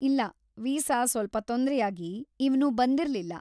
ಇಲ್ಲ, ವೀಸಾ ಸ್ವಲ್ಪ ತೊಂದ್ರೆಯಾಗಿ ಇವ್ನು ಬಂದಿರ್ಲಿಲ್ಲ.